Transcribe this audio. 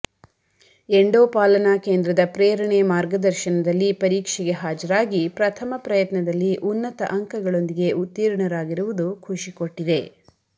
ಎಂಡೋಪಾಲನ ಕೇಂದ್ರದ ಪ್ರೇರಣೆ ಮಾರ್ಗದರ್ಶನದಲ್ಲಿ ಪರೀಕ್ಷೆಗೆ ಹಾಜರಾಗಿ ಪ್ರಥಮ ಪ್ರಯತ್ನದಲ್ಲಿ ಉನ್ನತ ಅಂಕಗಳೊಂದಿಗೆ ಉತ್ತೀರ್ಣರಾಗಿರುವುದು ಖುಷಿ ಕೊಟ್ಟಿದೆ